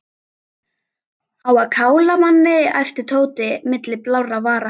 Á að kála manni æpti Tóti milli blárra vara.